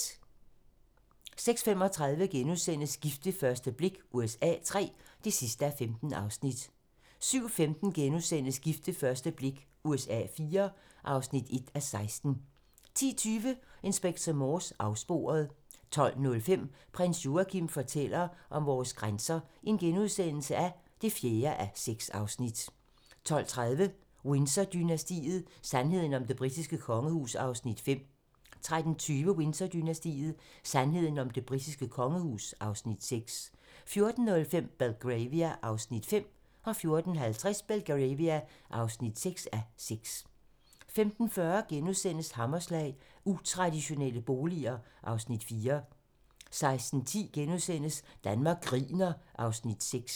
06:35: Gift ved første blik USA III (15:15)* 07:15: Gift ved første blik USA IV (1:16)* 10:20: Inspector Morse: Afsporet 12:05: Prins Joachim fortæller om vores grænser (4:6)* 12:30: Windsor-dynastiet: Sandheden om det britiske kongehus (Afs. 5) 13:20: Windsor-dynastiet: Sandheden om det britiske kongehus (Afs. 6) 14:05: Belgravia (5:6) 14:50: Belgravia (6:6) 15:40: Hammerslag - Utraditionelle boliger (Afs. 4)* 16:10: Danmark griner (Afs. 6)*